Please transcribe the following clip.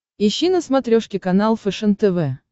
ищи на смотрешке канал фэшен тв